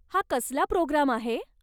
हा कसला प्रोग्राम आहे?